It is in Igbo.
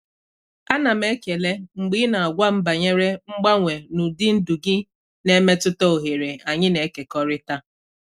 Ana m ekele mgbe ị na-agwa m banyere mgbanwe n'ụdị ndụ gị na-emetụta oghere anyị na-ekekọrịta.